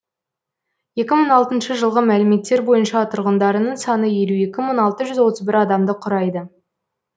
екі мың алтыншы жылғы мәліметтер бойынша тұрғындарының саны елу екі мың алты жүз отыз бір адамды құрайды